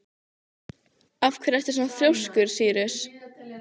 Af hverju ertu svona þrjóskur, Sýrus?